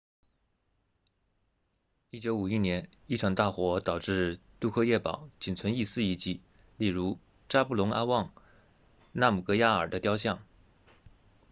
1951年一场大火导致杜克耶堡仅存一丝遗迹例如扎布隆阿旺纳姆格亚尔 zhabdrung ngawang namgyal 的雕像